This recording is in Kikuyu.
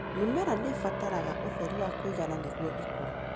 Mĩmera nĩibataraga ũtheri wa kũigana nĩguo ĩkũre.